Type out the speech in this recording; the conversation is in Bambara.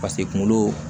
pase kunkolo